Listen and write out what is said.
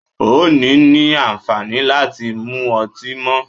O ò ní ní àǹfàní láti mu ọtí mọ́.